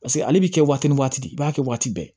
Paseke ale bi kɛ waati ni waati i b'a kɛ waati bɛɛ